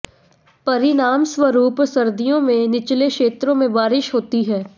परिणामस्वरूप सर्दियों में निचले क्षेत्रों में बारिश होती है